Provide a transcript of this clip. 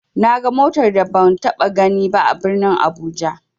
Naga motar da ban taɓa ganiba a birnin abuja.